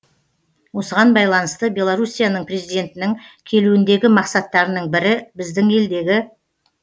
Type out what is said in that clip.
осыған байланысты беларусияның президентінің келуіндегі мақсаттарының бірі біздің елдегі